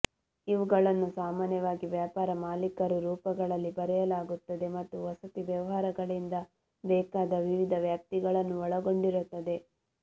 ಇವುಗಳನ್ನು ಸಾಮಾನ್ಯವಾಗಿ ವ್ಯಾಪಾರ ಮಾಲೀಕರು ರೂಪಗಳಲ್ಲಿ ಬರೆಯಲಾಗುತ್ತದೆ ಮತ್ತು ವಸತಿ ವ್ಯವಹಾರಗಳಿಂದ ಬೇಕಾದ ವಿವಿಧ ವ್ಯಾಪ್ತಿಗಳನ್ನು ಒಳಗೊಂಡಿರುತ್ತದೆ